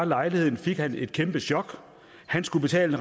lejligheden fik han et kæmpe chok han skulle betale